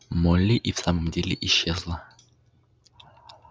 молли и в самом деле исчезла